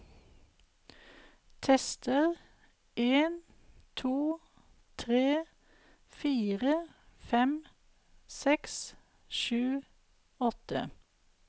Tester en to tre fire fem seks sju åtte